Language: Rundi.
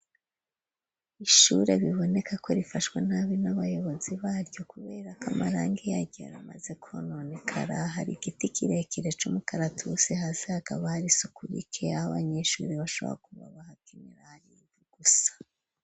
Ishure biboneka ko rifashwe nabi n'abayobozi baryo kubera ko amarangi yaryo amaze kononekara. Hari igiti kirekire c'umukaratusi, hasi hakaba hari isuku rike, abanyeshuri bashobora kuba bahakinra hari ivu gusa.